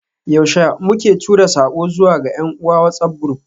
Yaushe muke tura sako zuwa ga yan uwa WhatsAf group?